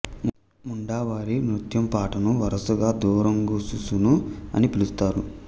ముండా వారి నృత్యం పాటను వరుసగా దురాంగు సుసును అని పిలుస్తారు